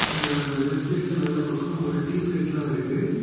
ஆ left சைட்ல மேல பக்கம் ஒரு டியூப் லைட் எல்லா இருக்கு.